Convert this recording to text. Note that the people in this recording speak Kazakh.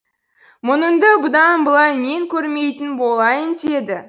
мұныңды бұдан былай мен көрмейтін болайын деді